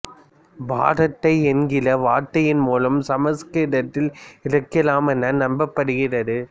பராத்தா என்கிற வார்த்தையின் மூலம் சமஸ்கிருதத்தில் இருக்கலாம் என நம்பப்படுகிறது